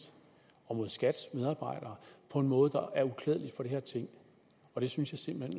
og mod skats medarbejdere på en måde der er uklædelig for det her ting det synes jeg simpelt